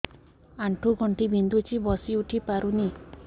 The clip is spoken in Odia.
ଆଣ୍ଠୁ ଗଣ୍ଠି ବିନ୍ଧୁଛି ବସିଉଠି ପାରୁନି